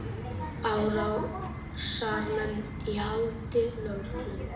Árásarmenn í haldi lögreglu